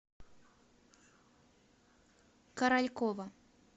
королькова